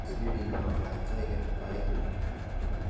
Sirinyo acheke aeng'.